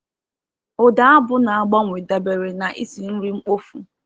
Ụda abụ na-agbanwe dabere na isi nri mkpofu.